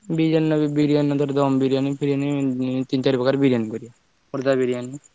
ବିରିୟାନୀ ବିରିୟାନୀ ଧର ଦମ ବିରିୟାନୀ ଫିରିୟାନି ଧର ତିନ ଚାରିପ୍ରକାର ବିରିୟାନୀ କରିବା ଖୋର୍ଦ୍ଧା ବିରିୟାନୀ।